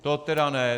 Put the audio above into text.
To tedy ne!